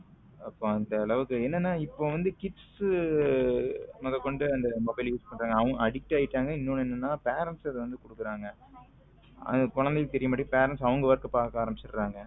அப்போ அந்த அளவுக்கு என்னென்ன இப்போ வந்து kids மொதக்கொண்டு அந்த mobile use பண்றாங்க அவங்க addict ஆயிட்டாங்க இன்னொன்னு என்னன்னா parents அத வந்து கொடுக்குறாங்க குழந்தைகளுக்கு தெரிய மாட்டேங்குது parents அவங்க work பார்க்க ஆரம்பித்துவிடுகிறார்கள்